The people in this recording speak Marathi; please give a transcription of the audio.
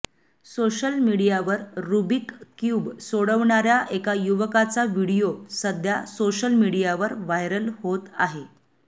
सोशल मीडियावर रुबिक क्यूब सोडवणाऱ्या एका युवकाचा व्हिडीओ सध्या सोशल मीडियावर व्हायरल होत आहे